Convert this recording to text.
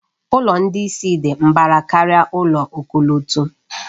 Ụlọ ndị isi dị mbara karịa ụlọ ọkọlọtọ.